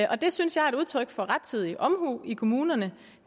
og det synes jeg er et udtryk for rettidig omhu i kommunerne